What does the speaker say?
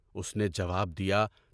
اُس نے جواب دیا: